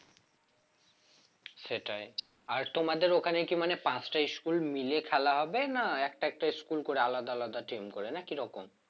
সেটাই আর তোমাদের ওখানে কি মানে পাঁচটা school মিলে খেলা হবে না একটা একটা school করে আলাদা আলাদা team করে না কি রকম?